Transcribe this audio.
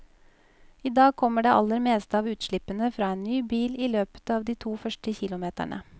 I dag kommer det aller meste av utslippene fra en ny bil i løpet av de to første kilometerne.